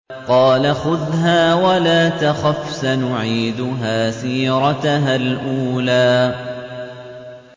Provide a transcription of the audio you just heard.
قَالَ خُذْهَا وَلَا تَخَفْ ۖ سَنُعِيدُهَا سِيرَتَهَا الْأُولَىٰ